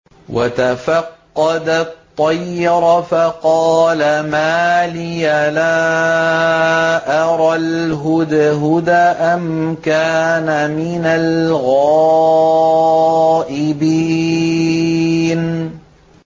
وَتَفَقَّدَ الطَّيْرَ فَقَالَ مَا لِيَ لَا أَرَى الْهُدْهُدَ أَمْ كَانَ مِنَ الْغَائِبِينَ